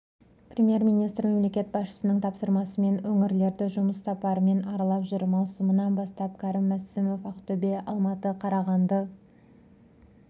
премьер-министрі мемлекет басшысының тапсырмасымен өңірлерді жұмыс сапарымен аралап жүр маусымынан бастап кәрім мәсімов ақтөбе алматы қарағанды